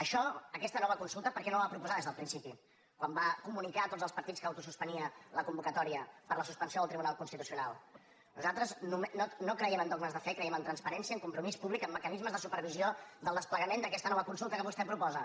això aquesta nova consulta per què no la va proposar des del principi quan va comunicar a tots els partits que autosuspenia la convocatòria per la suspensió del tribunal constitucional nosaltres no creiem en dogmes de fe creiem en transparència en compromís públic en mecanismes de supervisió del desplegament d’aquesta nova consulta que vostè proposa